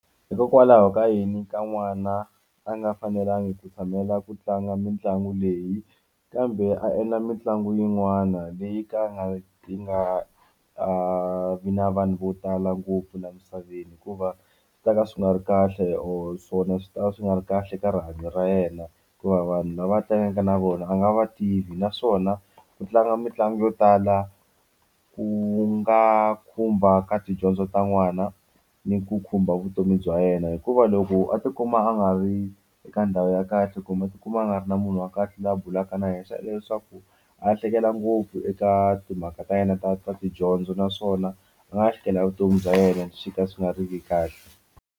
Hikokwalaho ka yini ka n'wana a nga fanelangi ku tshamela ku tlanga mitlangu leyi kambe a endla mitlangu yin'wana leyi ka a nga yi nga vi na vanhu vo tala ngopfu laha misaveni hikuva swi ta ka swi nga ri kahle or swona swi tava swi nga ri kahle ka rihanyo ra yena hikuva vanhu lava a tlangaka na vona a nga va tivi naswona ku tlanga mitlangu yo tala ku nga khumba ka tidyondzo ta n'wana ni ku khumba vutomi bya yena hikuva loko a tikuma a nga ri eka ndhawu ya kahle kumbe a tikuma a nga ri na munhu wa kahle laha bulaka na yena leswaku a hleketa ngopfu eka timhaka ta yena ta ta tidyondzo naswona a nga lahlekela hi vutomi bya yena swi ka swi nga ri ki kahle.